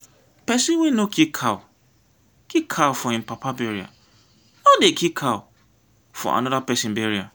pesin wey no kill cow kill cow for im papa burial no dey kill for another pesin burial.